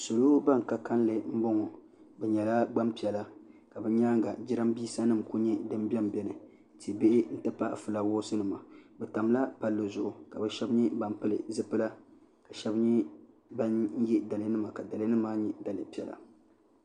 salo bani ka kanli n bɔŋɔ bi nyɛla gbaŋ piɛlla bi yɛanga jiranbesa nima kuli nyɛ dini bɛ n bɛni ti bihi n ti pahi flawaasi nima bi tamila palli zuɣu ka bi shɛba nyɛ bani pili zupila ka shɛba nyɛ bani ye daliya nima ka daliya nima ma nyɛ daliya piɛlla.